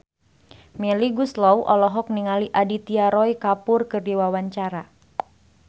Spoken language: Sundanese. Melly Goeslaw olohok ningali Aditya Roy Kapoor keur diwawancara